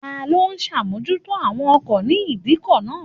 Ta ló ń ṣàmójútó àwọn ọkọ̀ ní ìdíkọ̀ náà?